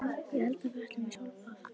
Ég hélt að við ætluðum í sólbað!